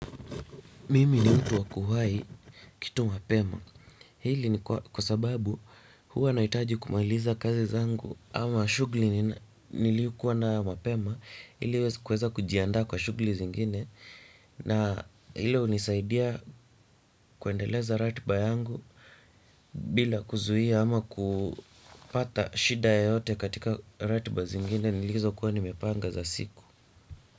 Mimi ni mtu waku wai kitu mapema hili ni kwa sababu huwa nahitaji kumaliza kazi zangu ama shughuli niliyo kuwa nayo mapema ili kuweza kujiandaa kwa shughuli zingine na hilo hunisaidia kuendeleza ratiba yangu bila kuzuia ama kupata shida yoyote katika ratiba zingine nilizo kuwa nimepanga za siku.